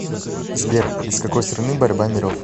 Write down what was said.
сбер из какой страны борьба миров